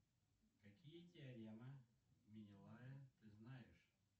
какие теоремы менелая ты знаешь